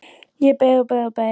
Ég beið og beið og beið!